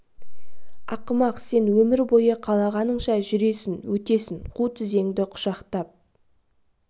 ақымақ сен өмір бойы қалағаныңша жүресің өтесің қу тізеңді құшақтап